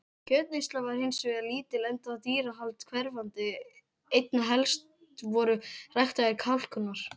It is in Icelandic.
Kjötneysla var hins vegar lítil enda dýrahald hverfandi, einna helst voru ræktaðir kalkúnar.